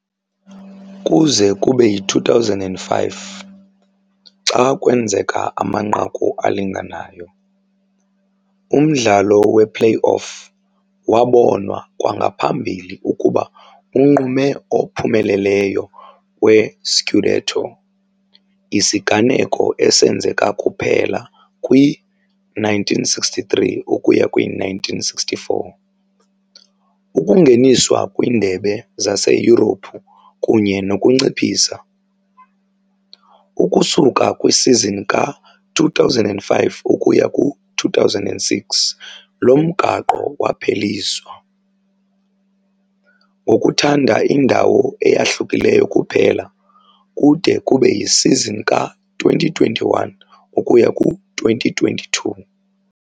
Kuze kube yi-2005, xa kwenzeka amanqaku alinganayo, umdlalo we-play-off wabonwa kwangaphambili ukuba unqume ophumeleleyo we-scudetto, isiganeko esenzeka kuphela kwi-1963- ukuya kwi-64, ukungeniswa kwiindebe zaseYurophu kunye nokunciphisa, ukusuka kwisizini ka-2005 ukuya ku-2006 lo mgaqo wapheliswa, ngokuthanda indawo eyahlukileyo kuphela, kude kube yisizini ka-2021 ukuya ku-22.